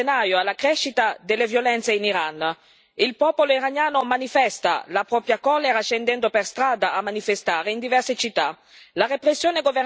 Abbiamo assistito da gennaio alla crescita delle violenze in Iran il popolo iraniano manifesta la propria collera scendendo per strada a manifestare in diverse città.